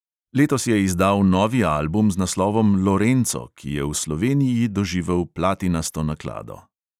Letos je izdal novi album z naslovom lorenco, ki je v sloveniji doživel platinasto naklado.